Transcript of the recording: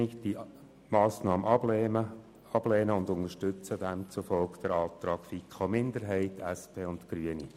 Auch diese Massnahme lehnen wir einstimmig ab und unterstützen demzufolge den Antrag von FiKo-Minderheit, SP-JUSO-PSA und Grünen.